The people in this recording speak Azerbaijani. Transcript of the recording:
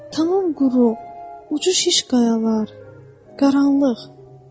Tamam quru, ucu şiş qayalar, qaranlıq.